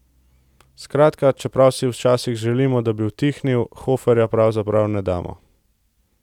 Skratka, čeprav si včasih želimo, da bi utihnil, Hoferja pravzaprav ne damo.